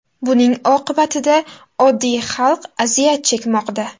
Buning oqibatida oddiy xalq aziyat chekmoqda.